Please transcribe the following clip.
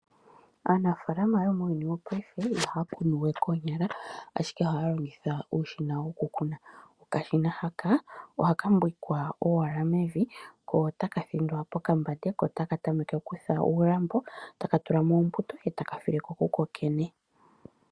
Aanafaalama yomuuyuni wopaife ihaya kunu we koonyala ashike ohaya longitha uushina wokukuna. Okashina haka ohaka mbwikwa owala mevi, ko otaka thindwa pokambate, ko otaka tameke okutha uulambo, taka tula mo ombuto e taka file ko ku kokene.